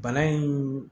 Bana in